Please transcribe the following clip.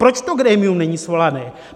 Proč to grémium není svoláno?